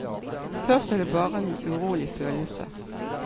Først er det bare en urolig følelse.